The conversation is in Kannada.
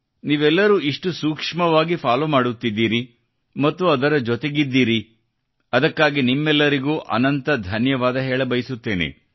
ನೀವೆಲ್ಲರೂ ಇಷ್ಟು ಸೂಕ್ಷ್ಮವಾಗಿ ಫಾಲೊ ಮಾಡುತ್ತಿದ್ದೀರಿ ಮತ್ತು ಅದರ ಜೊತೆಗಿದ್ದೀರಿ ಅದಕ್ಕಾಗಿ ನಿಮ್ಮೆಲ್ಲರಿಗೂ ಅನಂತ ಧನ್ಯವಾದ ಹೇಳ ಬಯಸುತ್ತೇನೆ